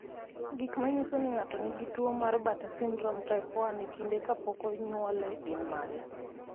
Gik manyiso ni ng'ato nigi tuwo mar Bartter syndrome type 1 e kinde kapok onyuole gin mage?